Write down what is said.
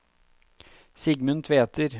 Sigmund Tveter